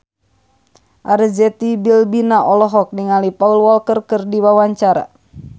Arzetti Bilbina olohok ningali Paul Walker keur diwawancara